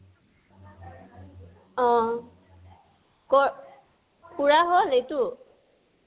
অ, কত, পুৰা হল এইটো?